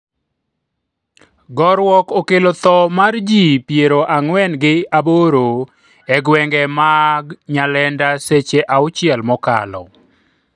gorruok okelo tho mar jii piero ang'wen gi aboro e gwenge mang Nyalenda seche auchiel mokalo